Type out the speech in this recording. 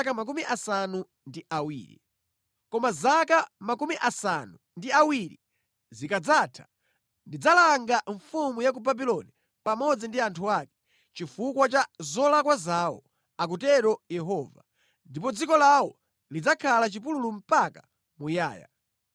“Koma zaka 70 zikadzatha, ndidzalanga mfumu ya ku Babuloni pamodzi ndi anthu ake, chifukwa cha zolakwa zawo,” akutero Yehova, “ndipo dziko lawo lidzakhala chipululu mpaka muyaya.